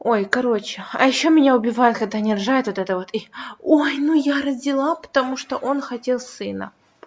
ой короче а ещё меня убивает когда они рожают это вот вот и ой ну я родила потому что он хотел сына